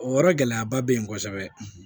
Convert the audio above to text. O yɔrɔ gɛlɛyaba bɛ yen kosɛbɛ